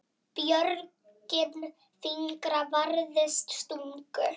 Björgin fingra varðist stungu.